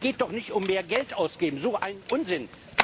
Es geht doch nicht darum, mehr Geld auszugeben so ein Unsinn!